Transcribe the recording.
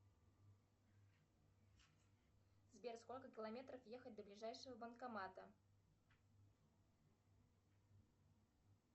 сбер сколько километров ехать до ближайшего банкомата